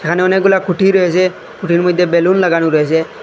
এখানে অনেকগুলা খুঁটি রয়েসে খুঁটির মইধ্যে বেলুন লাগানু রয়েসে।